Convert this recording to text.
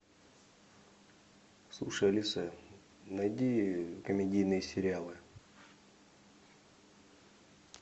слушай алиса найди комедийные сериалы